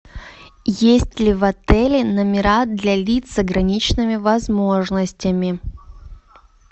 есть ли в отеле номера для лиц с ограниченными возможностями